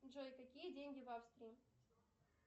джой какие деньги в австрии